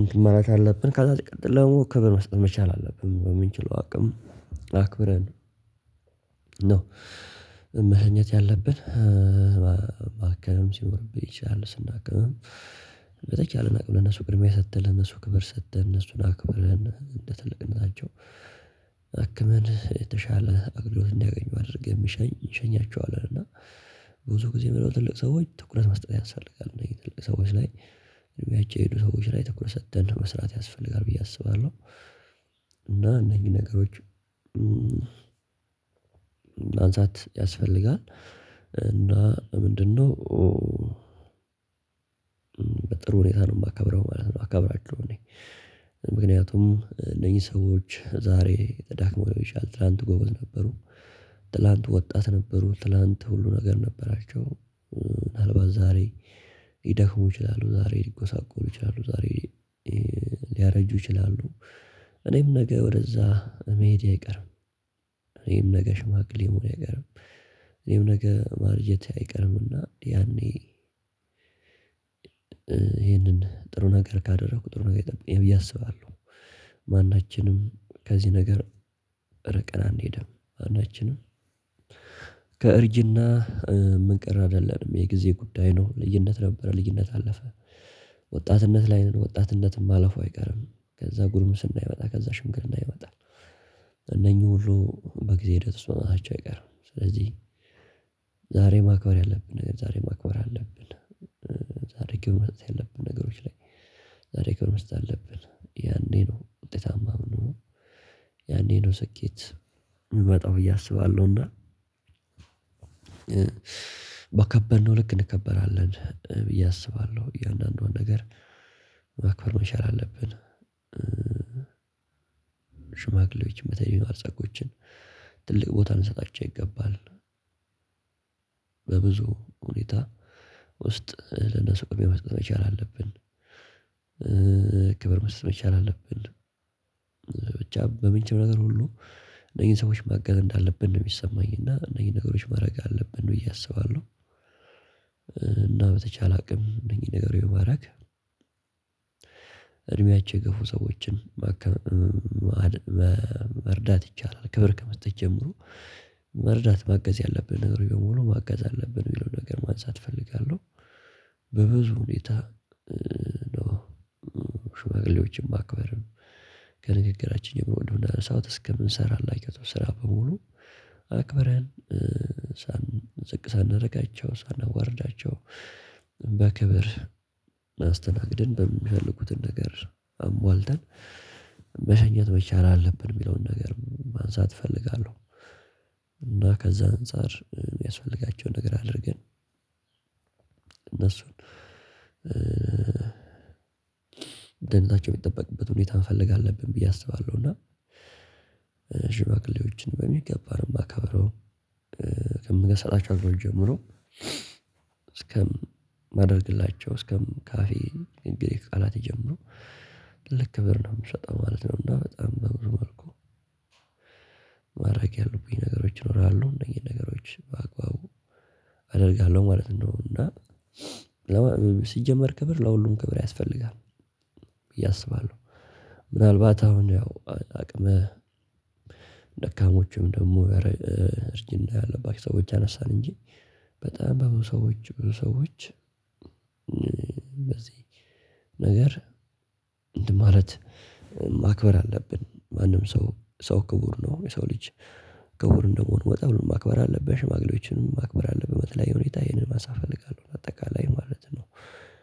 እንትን ማለት አለብን ካዛ ሲቀጥሎ ክብር መስጠት መቻል አለብን በምንችለው አቅም አክብረን ነው መህኘት ያለብን። ማከም ሲኖርብኝ ይቻላል ስናክምም እናቅብ ለነሱ ቅድሚያ ሰጥተን ለነሱ ክብር ሰጥተን እነሱን አክብረን እንደ ትልቅነታቸው። አክመን የተሻለ አገልግሎት እንዲያገኙ አድርገህ የሚሸኝ እንሸኛቸዋል እና። ብዙ ጊዜ ምንድነው ትልቅ ሰዎች ትኩረት መስጠብ ያሳፈልጋል እነዚህ ትልቅ ሰዎች ላይ እድሜያቸው የሄዱ ሰዎች ላይ ተኩረት ሰጥተን መስራት ያስፈልጋል ብዬ አስባለሁ። እና እነኚህን ነገሮች ማንሳት ያስፈልጋል። እና ምንድነው በጥሩ ሁኔታ ነው የማከብረው ማለት ነው የማከብራቸው። እኔ ምክንያቱም እነዚህ ሰዎች ዛሬ ተዳክመው ሊሆን ይችላል ትላንት ጎበዝ ነበሩ። ትላንት ወጣት ነበሩ ትላንት ሁሉ ነገር ነበራቸው። ዛሬ ምናልባት ይደክሙ ይችላሉ ዛሬ ሊጎሳቆሉ ይችላሉ ዛሬ ሊያረጁ ይችላሉ። እኔም ነገ ወደዛ መሄድ አይቀርም። እኔም ነገ ሽማግሌ መሆኔ አይቀርም። እኔም ነገ ማርጀቴ አይቀርምና ያኔ ይሄንን ጥሩ ነገር ካደረኩ ጥሩ ነገር ይጠብቀኛል ብዬ አስባለሁ። ማናችንም ከዚህ ነገር እርቀን አንሄድም። ማናችንም ከእርጅና ምንቀር አይደለንም የጊዜ ጉዳይ ነው። ልጅነት ነበረ ልጅነት አለፈ። ወጣትነት ላይ ነው ወጣትነት ማለፉ አይቀርም። ከዛ ጉርምስና ይመጣል ከዛ ሽምግር ይመጣል። እነኚህ ሁሉ በጊዜ ሂደት ውስጥ መምጣታቸው አይቀርም። ስለዚህ ዛሬ ማክበር ያለብን ነገር ዛሬ ማክበር አለብን። ዛሬ ክብር መስጠት ያለብን ነገሮች ላይ ዛሬ ክብር መስጠት አለብን ያኔ ነው ውጤታማነት። ያኔ ነው ስኬት የሚመጣው በዬ አሰባለሁና። ባከበርነው ልክ እንከበራለን ብዬ አስባለሁ እያንዳንዷን ነገር ማክበር መቻል አለብን። ሽማግሌዎች መተዲ ነው አርጻጎችን ትልቅ ቦታ እንሰጣቸው ይገባል። በብዙ ሁኔታ ውስጥ ለነሱ ቅድሚያ መስጠት መቻል አለብን። ክብር መስጠት መቻል አለብን። ብቻ በምንችለው ነገር ሁሉ እነዚህን ሰዎች ማገዝ እንዳለብን ነው የሚሰማኝ እና እነዚህ ነገሮች ማድረግ አለብን ብዬ አስባለሁ። እና በተቻለ አቅም እነዚህ ነገሮች ባረግ እድሜያቸው የገፉ ሰዎችን መርዳት ይቻላል። ክብር ከመስጠት ጀምሮ መርዳት ማገዝ ያለብን ነገር በሙሉ ማገዝ አለብን የሚለው ነገር ማንሳት እፈልጋለሁ። በብዙ ሁኔታ ሽማግሌዎችን ማክበር ከንግግራችን ወንድም እንዳነሳሁት እስከምንሰራላችሁ ስራ በሙሉ አክብረን ዝቅ ሳናደርጋቸው ሳናዋርዳቸው በክብር አስተናግደን በሚፈልጉትን ነገር አሟልተን መሰኘት መቻል አለብን የሚለውን ነገር ማንሳት እፈልጋለሁ። እና ከዛ አንፃር የሚያስፈልጋቸውን ነገር አድርገን እነሱን ደህንነታቸው የሚጠበቅበት ሁኔታ መፈለግ አለብን ብዬ አስባለሁ። እና ሽማግሌዎችን በሚገባ ነው የማከብረው። ከምገሰላቸው አድሮች ጀምሮ እስከ ማድረግላቸው እስከም ካፌ ቃላት ይጀምሩ ትልቅ ክብር ነው የምሰጠው ማለት ነው። እና በጣም በብዙ መልኩ ማረግ ያለብኝ ነገሮች ይኖራለሁ እነዚህ ነገሮች በአግባቡ አደርጋለሁ ማለት ነው። እና ሲጀመር ክብር ለሁሉም ክብር ያስፈልጋል ብዬአስባለው። ምናልባት አሁን ያው አቅመ ደካሞቹም ደግሞ እርጅና ያለባት ሰዎች አነሳን እንጂ በጣም በብዙ ሰዎች ብዙ ሰዎች በዚህ ነገር ማለት ማክበር አለብን። ማንም ሰው ሰው ክቡር ነው የሰው ልጅ ከወር እንደሆን ወጣ ወጣ ማክበር አለብን ሽማግሌዎችን ማክበር አለብን። በተለይ ሁኔታ ይሄንን ማሳ እፈልጋለሁ በአጠቃላይ ማለት ነው።